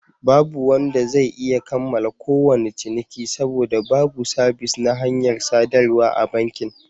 Babu wanda zai iya kammala kowane ciniki, saboda babu sabis na hanyar sadarwa a bankin.